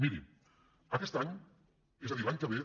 miri aquest any és a dir l’any que ve